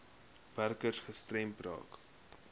werkers gestremd raak